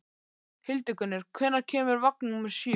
Hildigunnur, hvenær kemur vagn númer sjö?